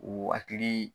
O hakili